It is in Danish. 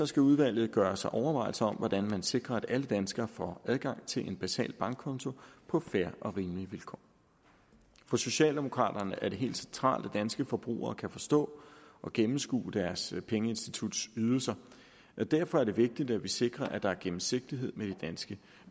skal udvalget gøre sig overvejelser om hvordan man sikrer at alle danskere får adgang til en basal bankkonto på fair og rimelige vilkår for socialdemokraterne er det helt centralt at danske forbrugere kan forstå og gennemskue deres pengeinstituts ydelser og derfor er det vigtigt at vi sikrer at der er gennemsigtighed med de danske